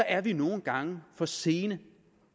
er vi nogle gange for sene